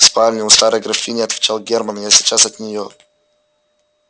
в спальне у старой графини отвечал германн я сейчас от неё